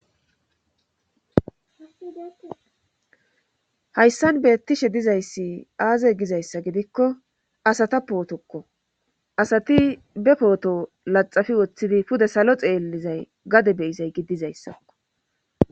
Hayssan beettishe dizayssi aaze gizayssa gidikko asata pootokko asati be pooto laxafi woththidi pude salo xeellizay gade beyizay giddizayssakko